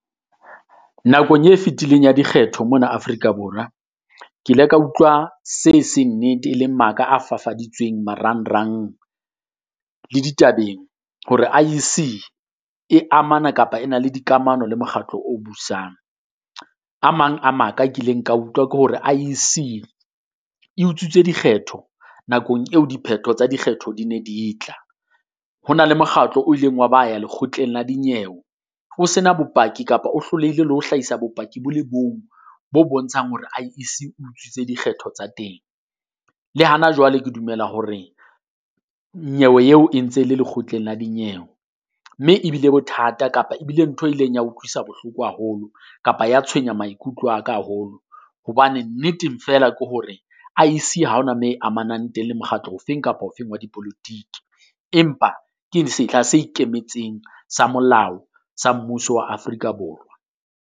Nakong e fetileng ya dikgetho mona Afrika Borwa, ke ile ka utlwa se seng nnete e leng maka a fafaditsweng marangrang le ditabeng. Hore I_E_C e amana kapa e na le dikamano le mokgatlo o busang. A mang a maka kileng ka utlwa ke hore I_E_C e utswitse dikgetho nakong eo diphetho tsa dikgetho di ne di tla, ho na le mokgatlo o ileng wa ba ya Lekgotleng la Dinyewe. ho se na bopaki kapa o hlolehile le ho hlaisa bopaki bo le bong bo bontshang hore I_E_C utswitse dikgetho tsa teng. Le hana jwale ke dumela hore nyewe eo e ntse le Lekgotleng la Dinyewe, mme e bile bothata kapa e bile ntho e ileng ya utlwisa bohloko haholo kapa ya tshwenya maikutlo a ka haholo. Hobane nneteng feela ke hore I_E_C ha ho na moo e amanang teng le mokgatlo ofeng kapa ofeng wa dipolotiki. Empa ke sehla se ikemetseng sa molao sa mmuso wa Afrika Borwa.